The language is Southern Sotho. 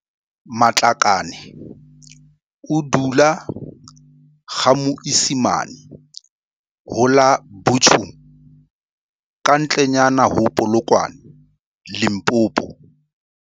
Matlakane o dula GaMoisimane ho la Buchum kantle nyana ho Polokwane Limpopo.